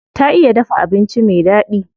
Ta iya dafa abinci me daɗi.